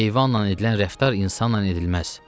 Heyvanla edilən rəftar insanla edilməz.